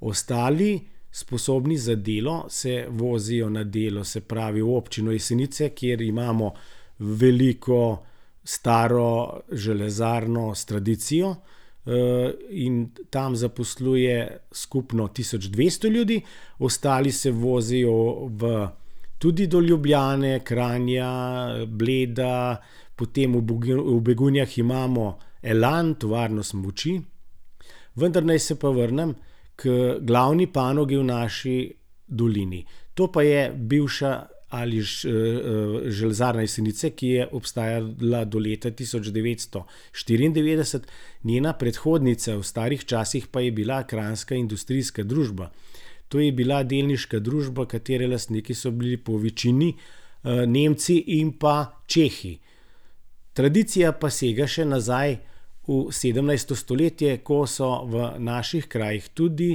Ostali, sposobni za delo, se vozijo na delo, se pravi, v Občino Jesenice, kjer imamo veliko staro železarno s tradicijo, in tam zaposluje skupno tisoč dvesto ljudi, ostali se vozijo v tudi do Ljubljane, Kranja, Bleda potem v Begunjah imamo Elan, tovarno smuči, vendar naj se pa vrnem k glavni panogi v naši dolini. To pa je bivša ali še, Železarna Jesenice, ki je obstajala do leta tisoč devetsto štiriindevetdeset, njena predhodnica v starih časih pa je bila Kranjska industrijska družba. To je bila delniška družba, katere lastniki so bili po večini, Nemci in pa Čehi. Tradicija pa sega še nazaj v sedemnajsto stoletje, ko so v naših krajih tudi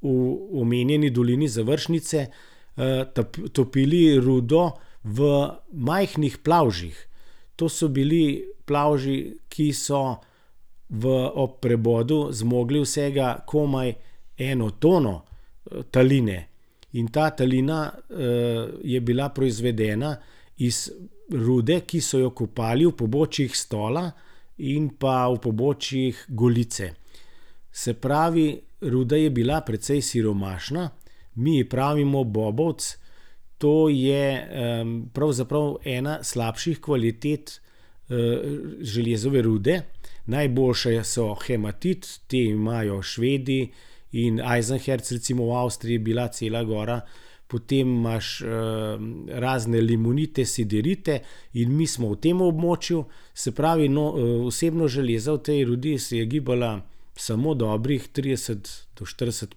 v omenjeni dolini Završnice, topili rudo v majhnih plavžih. To so bili plavži, ki so v ob prebodu zmogli vsega komaj eno tono taline. In ta talina, je bila proizvedena iz rude, ki so jo kopali v pobočjih Stola in pa v pobočjih Golice. Se pravi, ruda je bila precej siromašna, mi je pravimo bobovec. To je, pravzaprav ena slabših kvalitet, železove rude, najboljše so hematit, te imajo Švedi, in Eisenerz recimo v Avstriji je bila cela gora. Potem imaš, razne limonite, siderite in mi smo v tem območju. Se pravi, no, vsebnost železa v tej rudi se je gibala samo dobrih trideset do štirideset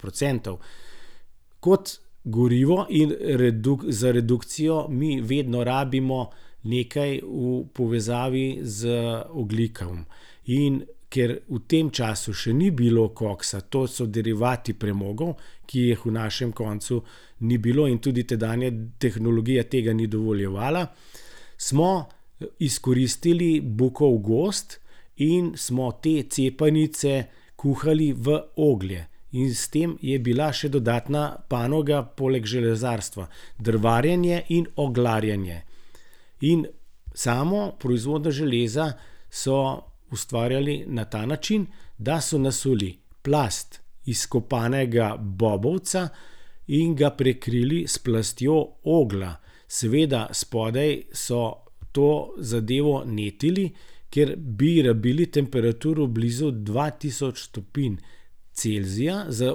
procentov. Kot gorivo in za redukcijo mi vedno rabimo nekaj v povezavi z ogljikom, in ker v tem času še ni bilo koksa, to so derivati premogov, ki jih v našem koncu ni bilo in tudi tedanja tehnologija tega ni dovoljevala, smo izkoristili bukov gozd in smo te cepanice kuhali v oglje. In s tem je bila še dodatna panoga poleg železarstva drvarjenje in oglarjenje. In samo proizvodnjo železa so ustvarjali na ta način, da so nasuli plast izkopanega bobovca in ga prekrili s plastjo oglja. Seveda spodaj so to zadevo netili, ker bi rabili temperaturo blizu dva tisoč stopinj Celzija za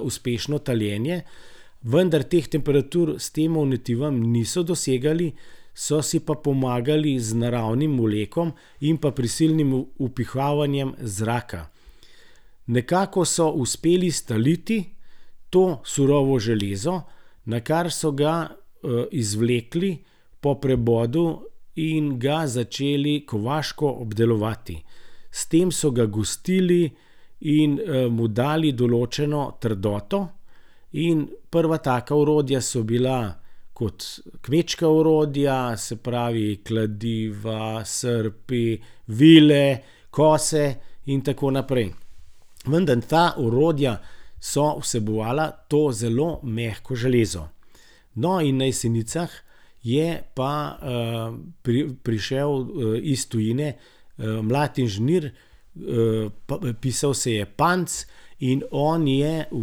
uspešno taljenje, vendar teh temperatur s tem netivom niso dosegali, so si pa pomagali z naravnim vlekom in pa prisilnim vpihavanjem zraka. Nekako so uspeli staliti to surovo železo, nakar so ga, izvlekli po prebodu in ga začeli kovaško obdelovati. S tem so ga gostili in, mu dali določeno trdoto in prva taka orodja so bila kot kmečka orodja, se pravi, kladiva, srpi, vile, kose in tako naprej. Vendar ta orodja so vsebovala to zelo mehko železo. No, in na Jesenicah je pa, prišel, iz tujine, mlad inženir, pa pisal se je Panc, in on je v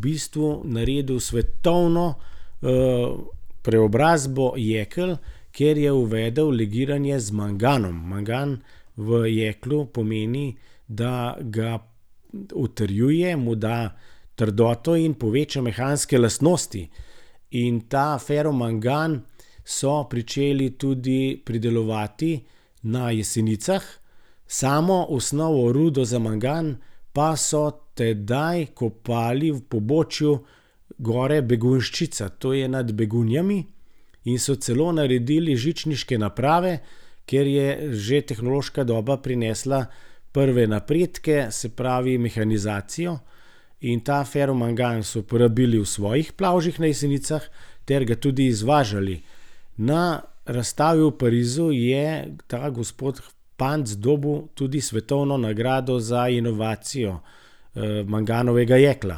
bistvu naredil svetovno, preobrazbo jekel, ker je uvedel legiranje z manganom. Mangan v jeklu pomeni, da ga utrjuje, mu da trdoto in poveča mehanske lastnosti. In ta feromangan so pričeli tudi pridelovati na Jesenicah, samo osnovo rudo za mangan pa so tedaj kopali v pobočju gor Begunjščica, to je nad Begunjami, in so celo naredili žičniške naprave, ker je že tehnološka doba prinesla prve napredke, se pravi mehanizacijo, in ta feromangan so uporabili v svojih plavžih na Jesenicah ter ga tudi izvažali. Na razstavi v Parizu je ta gospod Panc dobil tudi svetovno nagrado za inovacijo, manganovega jekla.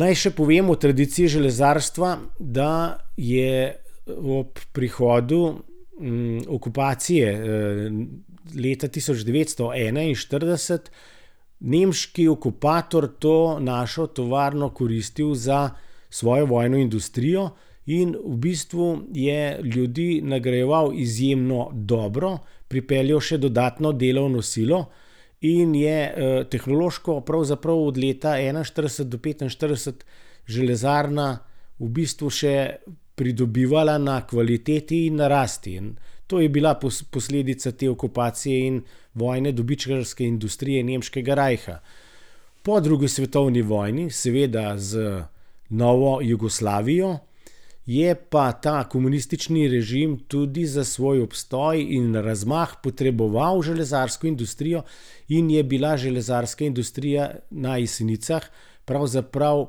Naj še povem o tradiciji železarstva, da je ob prihodu, okupacije, leta tisoč devetsto enainštirideset nemški okupator to našo tovarno koristil za svojo vojno industrijo in v bistvu je ljudi nagrajeval izjemno dobro, pripeljal še dodatno delovno silo in je, tehnološko pravzaprav od leta enainštirideset do petinštirideset železarna v bistvu še pridobivala na kvaliteti in na rasti. To je bila posledica te okupacije in vojne dobičkarske industrije nemškega rajha. Po drugi svetovni vojni seveda z novo Jugoslavijo je pa ta komunistični režim tudi za svoj obstoj in razmah potreboval železarsko industrijo in je bila železarska industrija na Jesenicah pravzaprav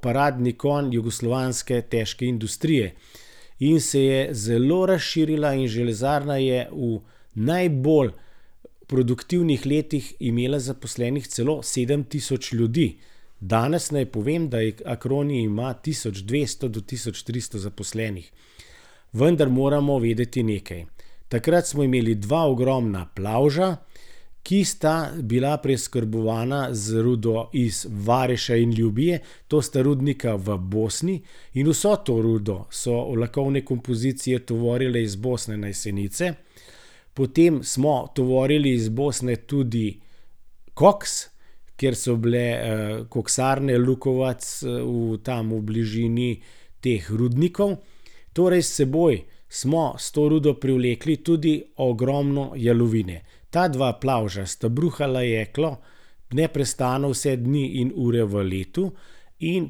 paradni konj jugoslovanske težke industrije. In se je zelo razširila in železarna je v najbolj produktivnih letih imela zaposlenih celo sedem tisoč ljudi. Danes naj povem, da jih Acroni ima tisoč dvesto do tisoč tristo zaposlenih. Vendar moramo vedeti nekaj. Takrat smo imeli dva ogromna plavža, ki sta bila preskrbovana z rudo iz Vareša in Ljubije, to sta rudnika v Bosni, in vso to rudo so vlakovne kompozicije tovorile iz Bosne na Jesenice, potem smo tovorili iz Bosne tudi koks, ker so bile, koksarne Lukovac, v tam v bližini teh rudnikov. Torej s seboj smo s to rudo privlekli tudi ogromno jalovine. Ta dva plavža sta bruhala jeklo neprestano vse dni in ure v letu. In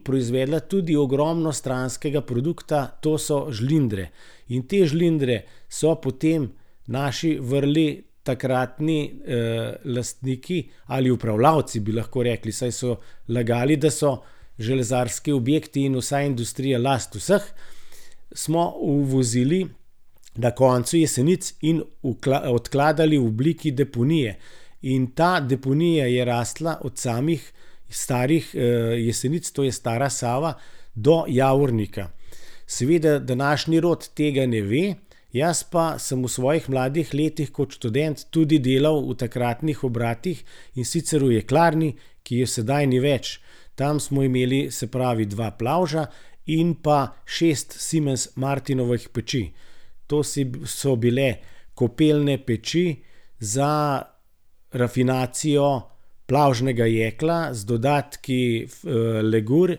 proizvedla tudi ogromno stranskega produkta, to so žlindre. In te žlindre so potem naši vrli takratni, lastniki ali upravljalci, bi lahko rekli, saj so lagali, da so železarski objekti in vsa industrija last vseh. Smo uvozili na koncu Jesenic in odkladali v obliki deponije. In ta deponija je rasla od samih starih, Jesenic, to je stara Sava, do Javornika. Seveda današnji rod tega ne ve, jaz pa sem v svojih mladih letih kot študent tudi delal v takratnih obratih, in sicer v jeklarni, ki je sedaj ni več. Tam smo imeli, se pravi, dva plavža in pa šest Siemens-Martinovih peči. To si, so bile kopelne peči za rafinacijo plavžnega jekla z dodatki, legur.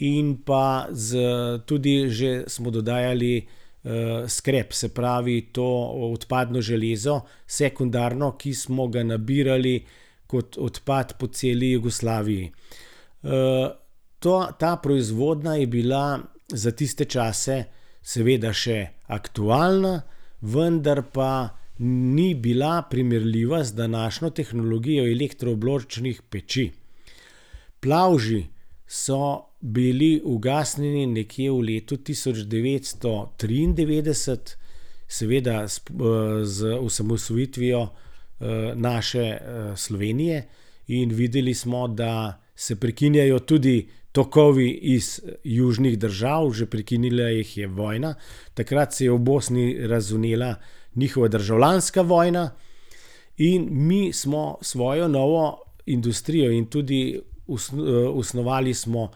In pa z tudi že smo dodajali, skrep, se pravi to odpadno železo sekundarno, ki smo ga nabirali kot odpad po celi Jugoslaviji. tua, ta proizvodnja je bila za tiste čase seveda še aktualna, vendar pa ni bila primerljiva z današnjo tehnologijo elektro obločnih peči. Plavži so bili ugasnjeni nekje v letu tisoč devetsto triindevetdeset, seveda z, z osamosvojitvijo, naše, Slovenije in videli smo, da se prekinjajo tudi tokovi iz južnih držav, že prekinila jih je vojna. Takrat se je v Bosni razvnela njihova državljanska vojna in mi smo svojo novo industrijo in tudi osnovali smo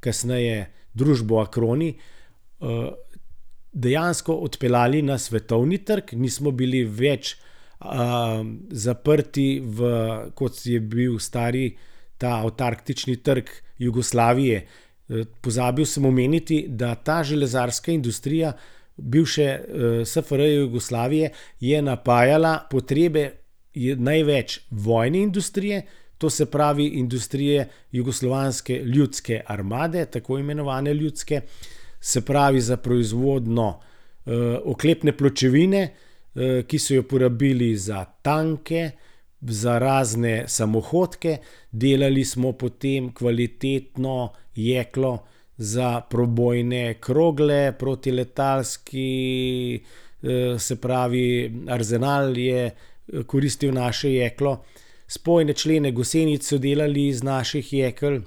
kasneje družbo Acroni, dejansko odpeljali na svetovni trg, nismo bili več, zaprti v, kot je bil stari ta avtarktični trg Jugoslavije. pozabil sem omeniti, da ta železarska industrija bivše, SFRJ Jugoslavije je napajala potrebe največ vojne industrije, to se pravi industrije Jugoslovanske ljudske armade, tako imenovanje ljudske. Se pravi, za proizvodnjo, oklepne pločevine, ki so jo porabili za tanke, za razne samohodke, delali smo potem kvalitetno jeklo za prebojne krogle, protiletalski, se pravi, arzenal je, koristil naše jeklo, spojne člene gosenic so delali iz naših jekel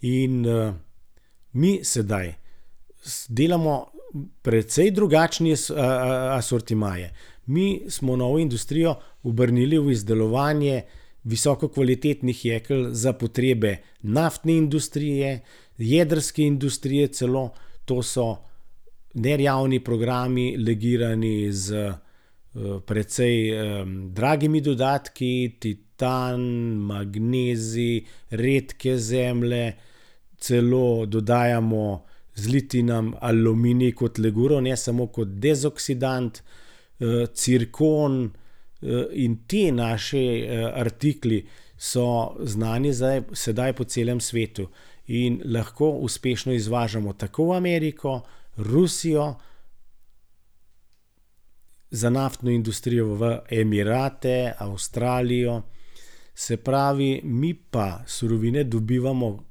in, mi sedaj delamo precej drugačne, asortimaje. Mi smo novo industrijo obrnili v izdelovanje visoko kvalitetnih jekel za potrebe naftne industrije, jedrske industrije celo, to so nejavni programi legirani s, precej, dragimi dodatki, titan, magnezij, redke zemlje celo dodajamo zlitinam, aluminij kot leguro ne samo kot dezoksidant, cirkon, in ti naši, artikli so znani zdaj, sedaj po celem svetu in lahko uspešno izvažamo tako v Ameriko, Rusijo, za naftno industrijo v Emirate, Avstralijo. Se pravi, mi pa surovine dobivamo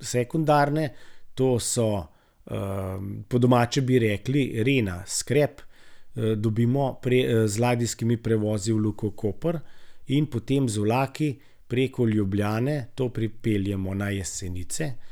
sekundarne, to so, po domače bi rekli rena skrep. dobimo z ladijskimi prevozi v Luko Koper in potem z vlaki preko Ljubljane to pripeljemo na Jesenice.